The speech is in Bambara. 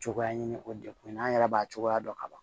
Cogoya ɲini o degun na an yɛrɛ b'a cogoya dɔn ka ban